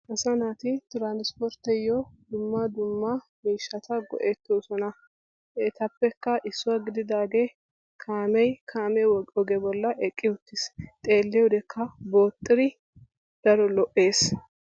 Asaa naati transpportiyo dumma dumma miishshatta go"ettosona, Ettappekka issuwa gididaage kaame kaame ogge bolla eqqi uttis xeelliyoddekka booxidi daro lo"ees.